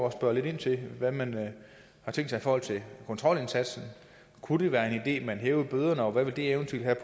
at spørge lidt ind til hvad man har tænkt sig i forhold til kontrolindsatsen kunne det være en man hævede bøderne og hvad ville det eventuelt have